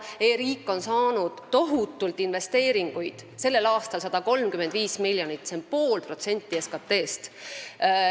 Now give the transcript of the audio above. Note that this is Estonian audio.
E-riik on saanud tohutult investeeringuid – sellel aastal 135 miljonit, mis on pool protsenti SKT-st.